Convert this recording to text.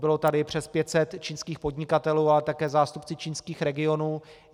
Bylo tady přes 500 čínských podnikatelů, ale také zástupci čínských regionů.